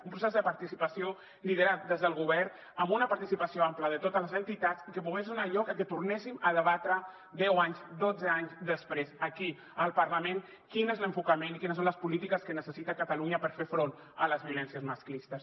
un procés de participació liderat des del govern amb una participació àmplia de totes les entitats i que pogués donar lloc a que tornéssim a debatre deu anys dotze anys després aquí al parlament quin és l’enfocament i quines són les polítiques que necessita catalunya per fer front a les violències masclistes